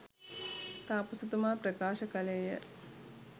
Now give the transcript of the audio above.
තාපසතුමා ප්‍රකාශ කළේ ය.